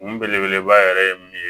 Kun belebeleba yɛrɛ ye mun ye